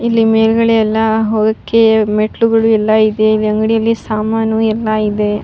ಇಲ್ಲಿ ಮೇಲ್ಗಡೆ ಎಲ್ಲ ಹೋಗೋಕೆ ಮೆಟ್ಟಿಲುಗಳು ಎಲ್ಲ ಇದೆ. ಈ ಅಂಗಡಿಯಲ್ಲಿ ಸಾಮಾನು ಎಲ್ಲ ಇದೆ.